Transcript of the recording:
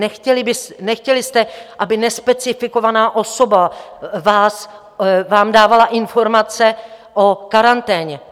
Nechtěli jste, aby nespecifikovaná osoba vám dávala informace o karanténě.